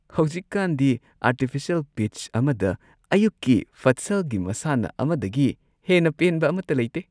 ꯍꯧꯖꯤꯛꯀꯥꯟꯗꯤ artificial pitch ꯑꯃꯗ ꯑꯌꯨꯛꯀꯤ ꯐꯠꯁꯜꯒꯤ ꯃꯁꯥꯟꯅ ꯑꯃꯗꯒꯤ ꯍꯦꯟꯅ ꯄꯦꯟꯕ ꯑꯃꯠꯇ ꯂꯩꯇꯦ ꯫